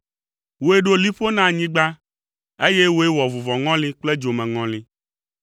Wòe ɖo liƒo na anyigba, eye wòe wɔ vuvɔŋɔli kple dzomeŋɔli.